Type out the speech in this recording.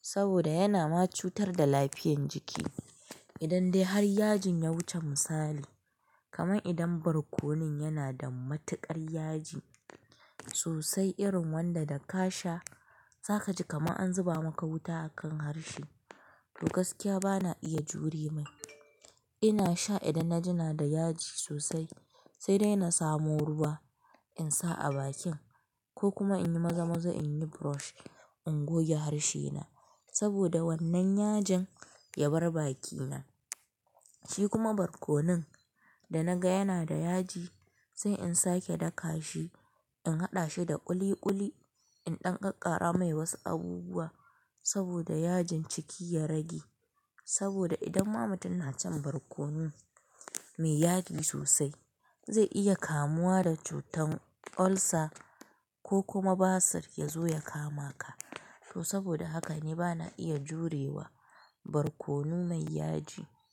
Saboda yana macutar da lafiyan jiki. Idan dai har yajin ya wuce misali, kamar idan barkonon yana da matukar yaji sosai irin wanda da ka sha, za kaji kamar an zuba maka wuta a kan harshe. To gaskiya bana iya jure mai. Ina sha idan na jina da yaji sosai, sai dai na samu ruwa in sa a bakin ko kuma in yi maza-maza in yi brush in goge harshe na. Saboda wannan yajin ya bar baki na. Shi kuma barkonon da naga yana da yaji, sai in sake daka shi, in haɗa shi da ƙuli-ƙuli, in ɗan ƙaƙara mai wasu abubuwa saboda yajin ciki ya rage. Saboda idan ma mutum na cin barkono mai yaji sosai, zai iya kamuwa da cutar ulcer ko kuma basir ya zo ya kama ka. To saboda haka ni bana iya jurewa barkono mai yaji.